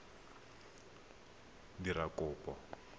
motho yo o dirang kopo